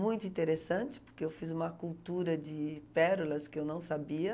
Muito interessante, porque eu fiz uma cultura de pérolas que eu não sabia.